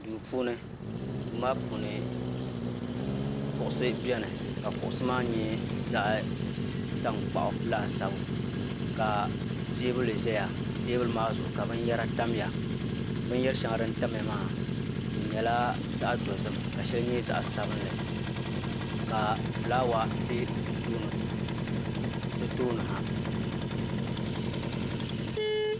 duu puuni duu maa puuni kuɣusi biɛni ka kuɣusi maa nyɛ zaɣ tankpaɣu laasabu ka teebuli ʒɛya teebuli maa zuɣu ka binyɛra tamya binyɛri shɛŋa din tamya maa di nyɛla zaɣ dozim ka shɛli nyɛ zaɣ sabinli ka fulaawa bɛ di tooni ha